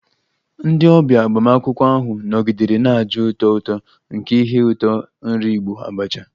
Ndị ọbịa agbamakwụkwọ ahụ nọgidere na-aja ụtọ ụtọ nke ihe ụtọ nri Igbo 'abacha'